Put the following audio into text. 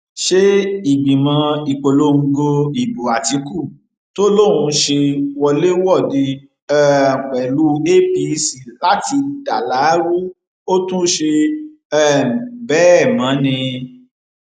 ṣe ìgbìmọ ìpolongo ìbò àtìkù tó ló ń ṣe wọléwọde um pẹlú apc láti dalárù ó tún ṣe um bẹẹ mọ ni